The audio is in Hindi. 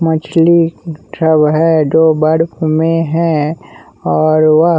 मछली सब है जो बर्फ में है और वह--